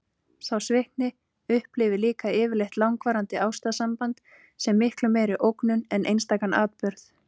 Sá svikni upplifir líka yfirleitt langvarandi ástarsamband sem miklu meiri ógnun en einstakan atburð.